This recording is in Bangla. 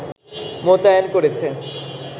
মোতায়েন করেছে